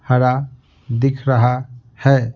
हरा दिख रहा है।